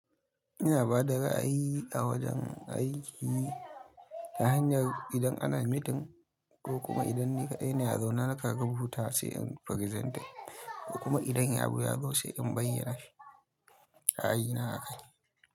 Ina bada ra'ayi a wajen aiki ta hanyar idan ana meeting ko kuma idan ni kaɗai ne a zaune haka zan huta sai in presentar ko kuma idan in yi abu ya gaisu sai in bayyana shi a aiyuna haka.